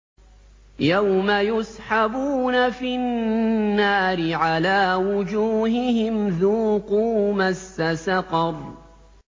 يَوْمَ يُسْحَبُونَ فِي النَّارِ عَلَىٰ وُجُوهِهِمْ ذُوقُوا مَسَّ سَقَرَ